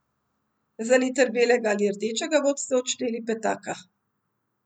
Za liter belega ali rdečega boste odšteli petaka.